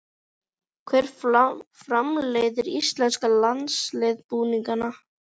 Hver framleiðir íslenska landsliðsbúninginn?